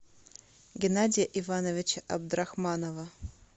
геннадия ивановича абдрахманова